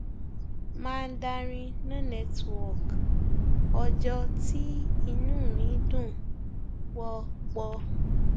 mandarin no network ọjọ tí inú mi dùn pọ pọ